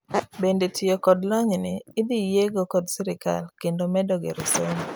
bende tiyo kod lonyni idhiyiego kod sirkal kendo medo gero somo